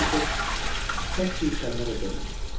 Moris tək bir kəlmə də demədi.